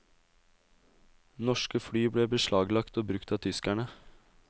Norske fly ble beslaglagt og brukt av tyskerne.